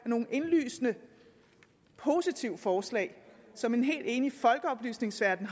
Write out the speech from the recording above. nogle indlysende positive forslag som en helt enig folkeoplysningsverden